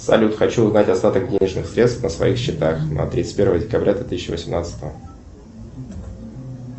салют хочу узнать остаток денежных средств на своих счетах на тридцать первое декабря две тысячи восемнадцатого